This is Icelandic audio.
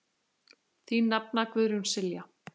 Þín nafna, Guðrún Silja.